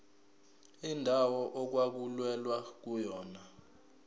indawo okwakulwelwa kuyona